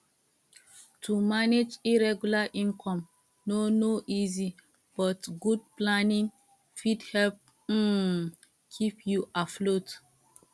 to manage irregular income no no easy but good planning fit help um keep you afloat